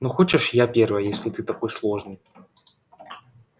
ну хочешь я первая если ты такой сложный